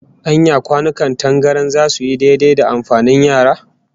Anya kwanukan tangaran zasu yi daidai da amfanin yara?